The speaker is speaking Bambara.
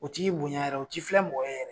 O t'i bonya yɛrɛ o t'i filɛ mɔgɔ ye yɛrɛ